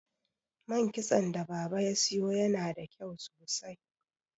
man kitson da baba ya siyo yana da kyau sosai